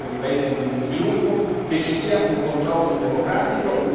di aiuti per i paesi in via di sviluppo, che ci sia un controllo democratico.